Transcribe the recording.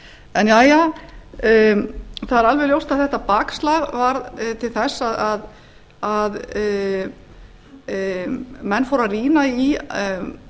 en jæja það er alveg ljóst að þetta bakslag varð til þess að menn fóru að rýna í